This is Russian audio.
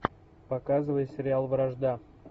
показывай сериал вражда